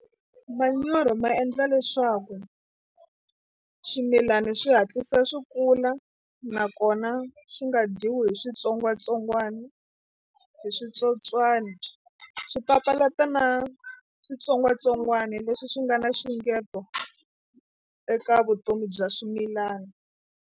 Manyoro ma endla leswaku swimilana swi hatlisa swi kula nakona swi nga dyiwi hi switsongwatsongwana hi switsotswani swi papalata na switsongwatsongwana leswi swi nga na nxungeto eka vutomi bya swimilana.